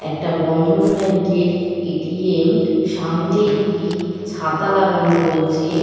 একটা বন্ধন ব্যাঙ্কের A. T. M. সামনে একটি ছাতা লাগানো রয়েছে।